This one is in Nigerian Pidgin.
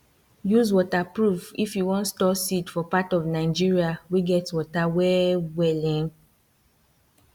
use waterproof if you wan store seed for part of nigeria wey get water well well um